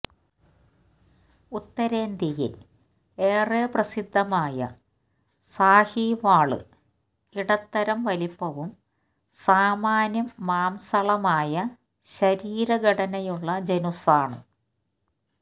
ഉത്തരേന്ത്യയില് ഏറെ പ്രസിദ്ധമായ സാഹിവാള് ഇടത്തരം വലിപ്പവും സാമാന്യം മാംസളമായ ശരീരഘടനയുമുള്ള ജനുസ്സാണ്